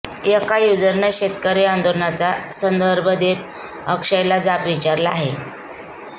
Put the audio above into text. एका युजरनं शेतकरी आंदोलनाचा संदर्भ देत अक्षयला जाब विचारला आहे